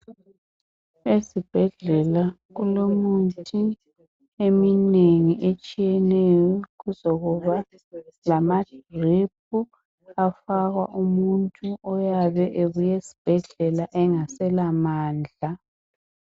Ezibhedlela kulomuthi eminengi etshiyeneyo kuzokuba lama drip afakwa umuntu oyabe ebuye esibhedlela engasela mandla.